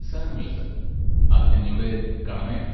സാരമില്ല സർ, അത് ഞങ്ങളുടെ കടമയാണ്.